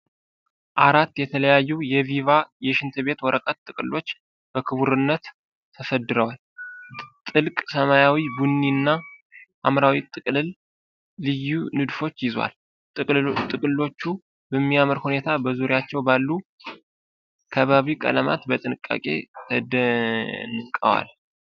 አራት የተለያዩ የቪቫ የሽንት ቤት ወረቀት ጥቅሎች በክቡርነት ተሰድረዋል። ጥልቅ ሰማያዊው፣ ቡኒውና ሐምራዊው ጥቅልል ልዩ ንድፎችን ይዟል። ጥቅሎቹ በሚያምር ሁኔታ በዙሪያቸው ባሉ ከባቢ ቀለማት በጥንቃቄ ተደንቀዋል።